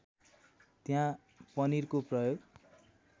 त्यहाँ पनिरको प्रयोग